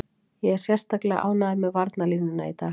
Ég er sérstaklega ánægður með varnarlínuna í dag.